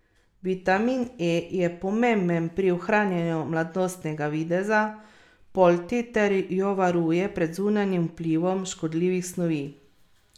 Vitamin E je pomemben pri ohranjanju mladostnega videza polti ter jo varuje pred zunanjim vplivom škodljivih snovi.